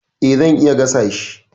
E, zan iya gasa shi.